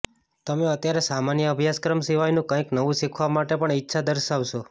તમે અત્યારે સામાન્ય અભ્યાસક્રમ સિવાયનું કંઇક નવું શીખવા માટે પણ ઇચ્છા દર્શાવશો